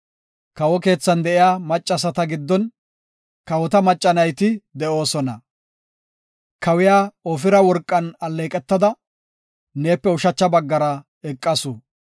Kawo keethan de7iya maccasata giddon; kawota macca nayti de7oosona. Kawiya Ofira worqan alleeqetada, neepe ushacha baggan eqasu.